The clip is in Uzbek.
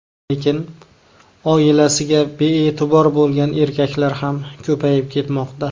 Lekin oilasiga bee’tibor bo‘lgan erkaklar ham ko‘payib ketmoqda.